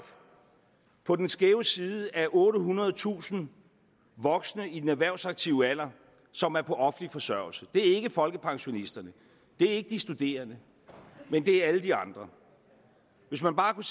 på den skæve side af ottehundredetusind voksne i den erhvervsaktive alder som er på offentlig forsørgelse det er ikke folkepensionisterne det er ikke de studerende men det er alle de andre hvis man bare kunne